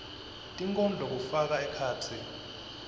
tinkondlo kufaka ekhatsi